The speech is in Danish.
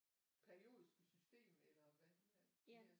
Periodiske system eller hvad de hedder